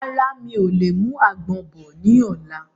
Rárá, mi ò lè mú àgbọ̀n bọ̀ ni ọ̀la.